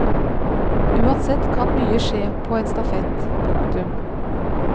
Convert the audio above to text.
Uansett kan mye skje på en stafett. punktum